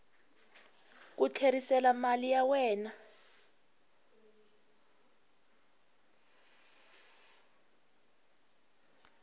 ku tlherisela mali ya wena